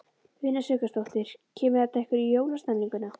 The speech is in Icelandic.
Una Sighvatsdóttir: Kemur þetta ykkur í jólastemninguna?